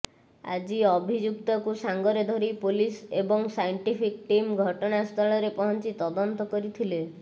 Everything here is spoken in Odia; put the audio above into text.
ଆଜି ଭଅିଯୁକ୍ତକୁ ସାଙ୍ଗରେ ଧରି ପୋଲିସ ଏବଂ ସାଇଂଟିଫିକ ଟିମ ଘଟଣାସ୍ଥ ରେ ପହଂଚି ତଦନ୍ତ କରିଥିଲେ